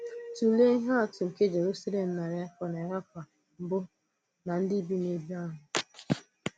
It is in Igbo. Tụ̀lee ihe atụ nke Jerusalem narị afọ narị afọ mbụ na ndị bi n’èbè ahụ.